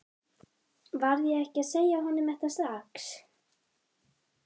Varð ég ekki að segja honum þetta strax?